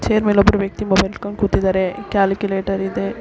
Chair ಮೇಲೆ ಒಬ್ಬ ವ್ಯಕ್ತಿ ಮೊಬೈಲ್ ಇಟ್ಟ್ಕೊಂಡು ಕೂತಿದಾರೆ ಕ್ಯಾಲ್ಕುಲೇಟರ್ ಇದೆ.